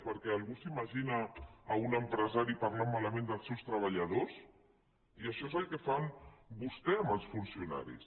perquè algú s’imagina un empresari parlant malament dels seus treballadors i això és el que fan vostès amb els funcionaris